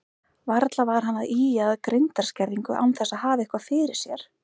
Varla var hann að ýja að greindarskerðingu án þess að hafa eitthvað fyrir sér.